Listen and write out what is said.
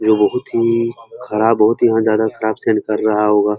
ये बहोत ही खराब बहोत ही ज्यादा खराब सेंध कर रहा होगा।